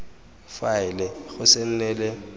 faele go se nne le